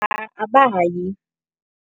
Abayi.